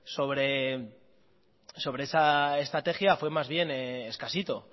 sobre esa estrategia fue más bien escasito